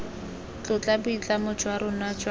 tlotla boitlamo jwa rona jwa